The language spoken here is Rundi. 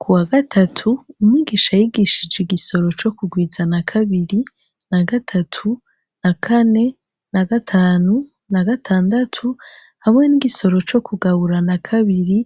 Kuwagatatu umwigisha yigishije igisoro co ku rwiza na kabiri, na gatatu, na kane, na gatanu, na gatandatu, hamwe n’igosoro co kugabura na kabiri,